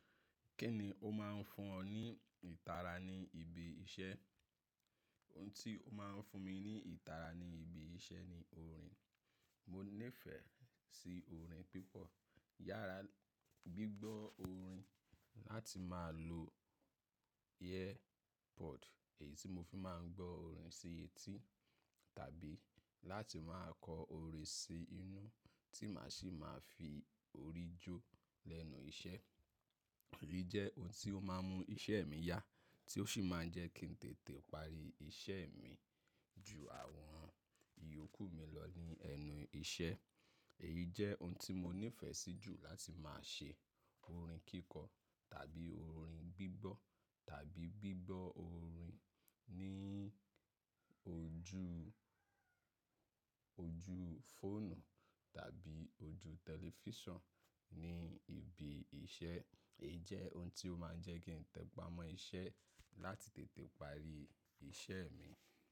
Kí ni o máa ń fún ọ ní ìtara ní ibi iṣẹ́? Ohun tí ó máa ń fún mi ní ìtara ní ibi iṣẹ́ ni orin. Mo nífẹ̀ẹ́ sí orin púpọ̀. Yára gbígbọ́ orin, láti máa lo earpod èyí tí mo fi máa ń gbọ́ orin sí etí tàbí láti máa kọ orin sí inú tí màá sì máa fi orí jó lẹ́nu iṣẹ́. Èyí jẹ́ ohun tí ó máa ń mú iṣẹ́ mi yá tí ó sì máa ń jẹ́ kí n tètè parí iṣẹ́ mi ju àwọn ìyókù mi lọ ní ẹnu iṣẹ́. Èyí jẹ́ ohun tí mo nífẹ̀ẹ́ sí jù, láti máa ṣe orin kíkọ tàbí orin gbígbọ́ tàbí gbígbọ́ orin ní ojú, ojú fóònù tàbí ojú tẹlifíṣàn ní ibi iṣẹ́. Èyí jẹ́ ohun tí ó máa ń jẹ́ kí n tẹpá mọ́ iṣẹ́ láti tètè parí iṣẹ́ mi.